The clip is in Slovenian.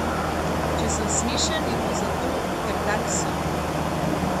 Če sem smešen, je to zato, ker tak sem.